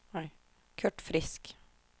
Kurt Frisk